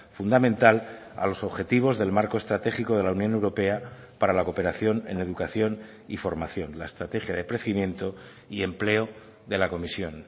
fundamental a los objetivos del marco estratégico de la unión europea para la cooperación en educación y formación la estrategia de crecimiento y empleo de la comisión